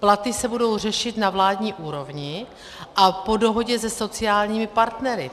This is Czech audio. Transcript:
Platy se budou řešit na vládní úrovni a po dohodě se sociálními partnery.